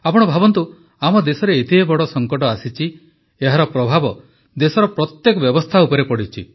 ଆପଣ ଭାବନ୍ତୁ ଆମ ଦେଶରେ ଏତେ ବଡ଼ ସଙ୍କଟ ଆସିଛି ଏହାର ପ୍ରଭାବ ଦେଶର ପ୍ରତ୍ୟେକ ବ୍ୟବସ୍ଥା ଉପରେ ପଡ଼ିଛି